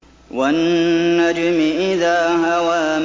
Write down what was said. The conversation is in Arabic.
وَالنَّجْمِ إِذَا هَوَىٰ